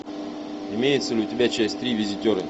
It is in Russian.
имеется ли у тебя часть три визитера